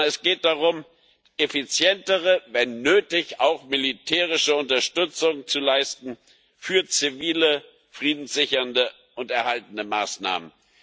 Sondern es geht darum, effizientere, wenn nötig auch militärische Unterstützung zu leisten für zivile, friedenssichernde und erhaltende Maßnahmen.